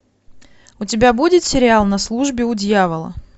у тебя будет сериал на службе у дьявола